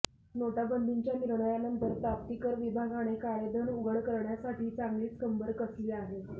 नोटाबंदीच्या निर्णयानंतर प्राप्तिकर विभागाने काळेधन उघड करण्यासाठी चांगलीच कंबर कसली आहे